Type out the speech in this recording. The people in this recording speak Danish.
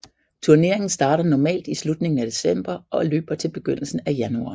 Turneringen starter normalt i slutningen af december og løber til begyndelsen af januar